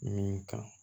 Min kan